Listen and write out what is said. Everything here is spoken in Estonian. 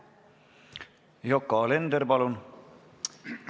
Yoko Alender, palun!